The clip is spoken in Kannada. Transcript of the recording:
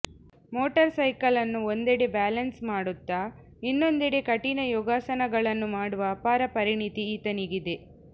ಮೋಟಾರ್ಸೈಕಲ್ನನ್ನು ಒಂದೆಡೆ ಬ್ಯಾಲೆನ್ಸ್ ಮಾಡುತ್ತಾ ಇನ್ನೊಂದೆಡೆ ಕಠಿಣ ಯೋಗಾಸನಗಳನ್ನು ಮಾಡುವ ಅಪಾರ ಪರಿಣಿತಿ ಈತನಿಗಿದೆ